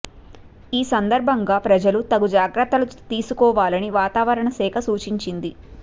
ఈ సందర్భంగా ప్రజలు తగు జాగ్రత్తలు తీసుకోవాలని వాతావరణ శాఖ సూచించింది